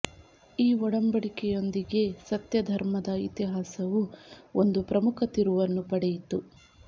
ಈ ಒಡಂಬಡಿಕೆಯೊಂದಿಗೆ ಸತ್ಯ ಧರ್ಮದ ಇತಿಹಾಸವು ಒಂದು ಪ್ರಮುಖ ತಿರುವನ್ನು ಪಡೆಯಿತು